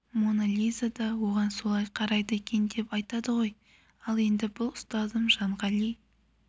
моно лиза да оған солай қарайды екен деп айтады ғой ал енді біз ұстазым жанғали